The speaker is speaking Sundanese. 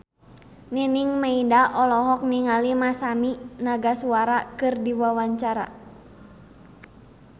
Nining Meida olohok ningali Masami Nagasawa keur diwawancara